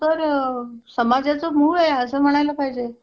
सगळं हिशोब वगैरे नीट ठेवावा लागतो.